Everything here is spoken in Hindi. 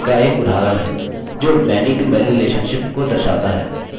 जो manytomany relationship को दर्शाता है